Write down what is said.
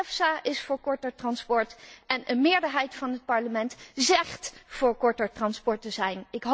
EFSA is voor korter transport en een meerderheid van het Parlement zegt voor korter transport te zijn.